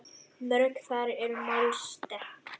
Mörg þar eru mál sterk.